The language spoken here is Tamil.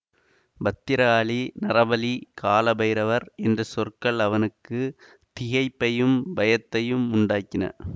பத்திராளி நரபலி கால பைரவர் என்ற சொற்கள் அவனுக்கு திகைப்பையும் பயத்தையும் உண்டாக்கின